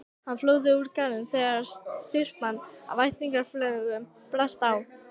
Hann flúði úr garðinum þegar syrpa af ættjarðarlögum brast á.